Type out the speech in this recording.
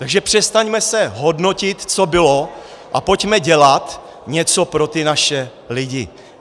Takže přestaňme se hodnotit, co bylo, a pojďme dělat něco pro ty naše lidi.